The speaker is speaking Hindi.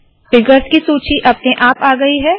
फिगर्स की सूची अपने आप आ गयी है